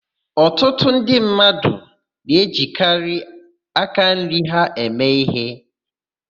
Ọtụtụ ndị mmadụ na-ejikarị aka nri ha eme íhé.